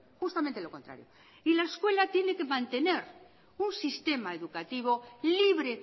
justamente lo contrario y la escuela tiene que mantener un sistema educativo libre